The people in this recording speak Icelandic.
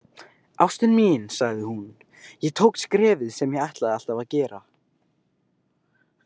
Ástin mín, sagði hún, „ég tók skrefið sem ég ætlaði alltaf að gera“